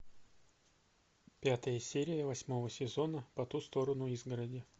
пятая серия восьмого сезона по ту сторону изгороди